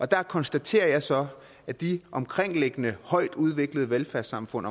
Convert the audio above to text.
der konstaterer jeg så at de omkringliggende højt udviklede velfærdssamfund